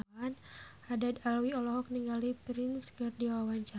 Haddad Alwi olohok ningali Prince keur diwawancara